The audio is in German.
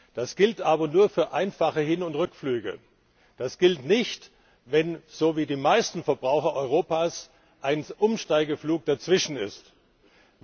Das gilt aber nur für einfache Hin und Rückflüge. Das gilt nicht, wenn sie so wie die meisten Verbraucher in Europa einen Umsteigeflug gebucht haben.